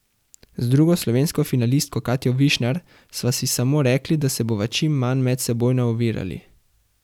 Z drugo slovensko finalistko Katjo Višnar sva si samo rekli, da se bova čim manj medsebojno ovirali.